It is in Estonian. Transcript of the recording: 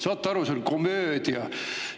Saate aru, see on komöödia!